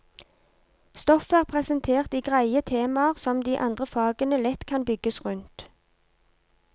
Stoffet er presentert i greie temaer som de andre fagene lett kan bygges rundt.